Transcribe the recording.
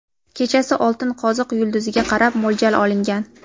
kechasi Oltin qoziq yulduziga qarab mo‘ljal olingan.